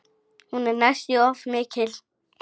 Hún er næstum því of mikil.